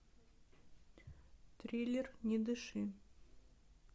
триллер не дыши